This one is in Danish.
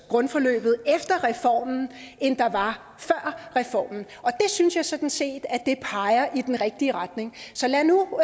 grundforløbet efter reformen end der var før reformen og det synes jeg sådan set peger i den rigtige retning så lad nu